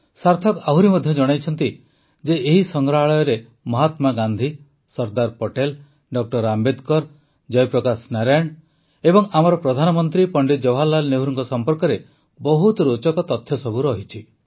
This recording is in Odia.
ସାର୍ଥକ ଆହୁରି ମଧ୍ୟ ଜଣାଇଛନ୍ତି ଯେ ଏହି ସଂଗ୍ରହାଳୟରେ ମହାତ୍ମା ଗାନ୍ଧୀ ସର୍ଦ୍ଦାର ପଟେଲ ଡ ଆମ୍ବେଦକର ଜୟପ୍ରକାଶ ନାରାୟଣ ଓ ଆମର ପ୍ରଧାନମନ୍ତ୍ରୀ ପଣ୍ଡିତ ଜବାହରଲାଲ ନେହେରୁଙ୍କ ସମ୍ପର୍କରେ ବହୁତ ରୋଚକ ତଥ୍ୟ ସବୁ ରହିଛି